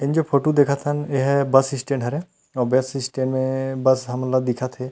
ई जो फोटो देख हन एहा बस स्टैंड हरे अऊ बस स्टैंड मे बस हमन ला दिखत हे।